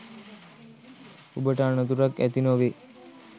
ඔබට අනතුරක් ඇති නොවේ.